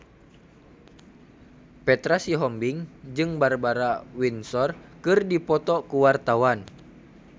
Petra Sihombing jeung Barbara Windsor keur dipoto ku wartawan